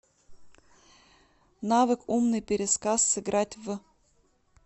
навык умный пересказ сыграть в